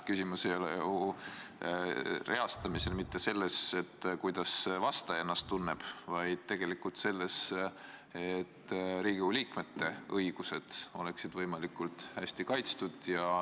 Küsimus ei ole ju reastamisel mitte selles, kuidas see vastaja ennast tunneb, vaid selles, et Riigikogu liikmete õigused oleksid võimalikult hästi kaitstud.